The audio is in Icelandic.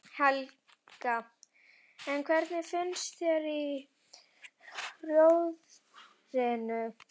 Helga: En hvernig finnst þér í Rjóðrinu?